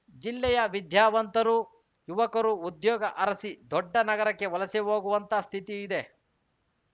ಜಿಲ್ಲೆಯ ವಿದ್ಯಾವಂತರು ಯುವಕರು ಉದ್ಯೋಗ ಅರಸಿ ದೊಡ್ಡ ನಗರಕ್ಕೆ ವಲಸೆ ಹೋಗುವಂತಹ ಸ್ಥಿತಿ ಇದೆ